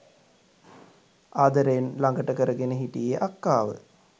ආදරයෙන් ළඟට කරගෙන හිටියේ අක්කාව.